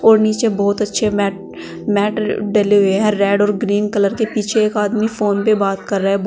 और नीचे बोहोत अच्छे मैट मैटर डले हुए हैं रेड और ग्रीन कलर के। पीछे एक आदमी फोन पे बात कर रहा है। ब् --